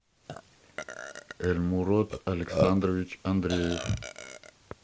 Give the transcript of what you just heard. эльмурод александрович андреев